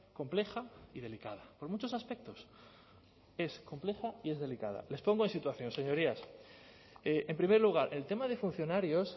compleja y delicada por muchos aspectos es compleja y es delicada les pongo en situación señorías en primer lugar el tema de funcionarios